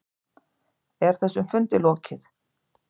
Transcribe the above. Er þessum fundi lokið?